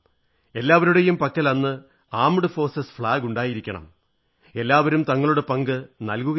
എല്ലാവരുടെയും പക്കൽ അന്ന് സായുധ സേനാ പതാക ഉണ്ടായിരിക്കണം എല്ലാവരും തങ്ങളുടെ പങ്ക് നൽകുകയും വേണം